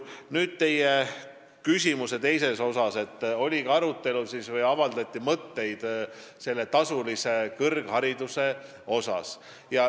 Nüüd, vastates teie küsimuse teisele osale, ütlen, et avaldati ka mõtteid tasulise kõrghariduse kohta.